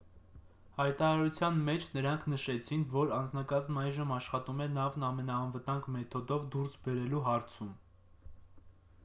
հայտարարության մեջ նրանք նաև նշեցին որ անձնակազմն այժմ աշխատում է նավն ամենաանվտանգ մեթոդով դուրս բերելու հարցում